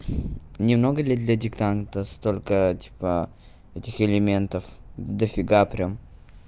немного ли для диктанта столько типа этих элементов дофига прям